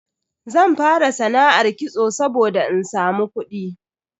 Zan fara sana'ar kitso saboda in samu kudi.